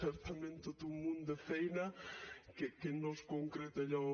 certament tot un munt de feina que no és concreta allò